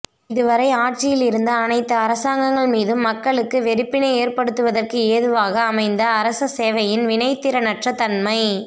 இதுவரை ஆட்சியிலிருந்த அனைத்து அரசாங்கங்கள் மீதும் மக்களுக்கு வெறுப்பினை ஏற்படுத்துவதற்கு ஏதுவாக அமைந்த அரச சேவையின் வினைத்திறனற்ற தன்மை